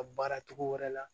A baara cogo wɛrɛ la